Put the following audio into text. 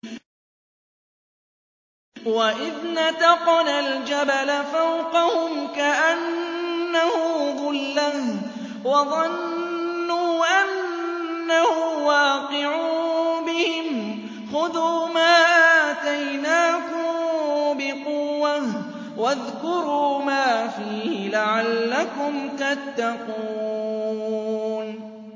۞ وَإِذْ نَتَقْنَا الْجَبَلَ فَوْقَهُمْ كَأَنَّهُ ظُلَّةٌ وَظَنُّوا أَنَّهُ وَاقِعٌ بِهِمْ خُذُوا مَا آتَيْنَاكُم بِقُوَّةٍ وَاذْكُرُوا مَا فِيهِ لَعَلَّكُمْ تَتَّقُونَ